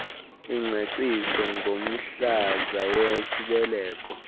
ingcaciso ngomhlaza wesibeleko